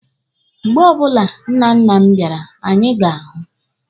Mgbe ọbụla nnanna m bịara, anyị ga-ahụ.